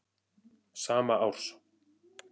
sama árs.